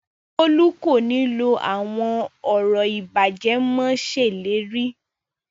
Bólú kò ní lọ àwọn ọ̀rọ̀ ìbàjẹ́ mo ṣèlérí